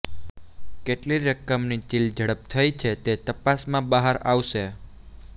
કેટલી રકમની ચિલઝડપ થઈ છે તે તપાસમાં બહાર આવશે